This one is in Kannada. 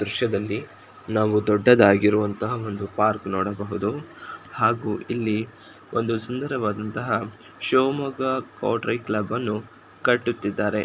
ದೃಶ್ಯದಲ್ಲಿ ನಾವು ದೊಡ್ಡದಾಗಿರುವಂತಹ ಒಂದು ಪಾರ್ಕ್ ನೋಡಬಹುದು ಹಾಗೂ ಇಲ್ಲಿ ಒಂದು ಸುಂದರವಾಗಿರುವಂತಹ ಶಿವಮೊಗ್ಗ ಕಂಟ್ರಿ ಕ್ಲಬ್ಬನ್ನು ಕಟ್ಟುತ್ತಿದ್ದಾರೆ.